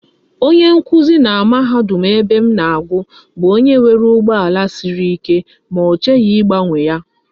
Onye nkuzi na mahadum ebem na agu bu onye nwere ugbo ala Siri ike, ma ochighi igbanwe ya